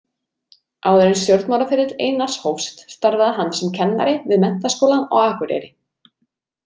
Áður en stjórnmálaferill Einars hófst starfaði hann sem kennari við Menntaskólann á Akureyri.